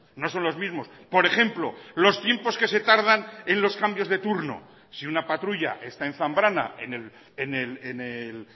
no son los mismos por ejemplo los tiempos que se tardan en los cambios de turno si una patrulla está en zambrana en el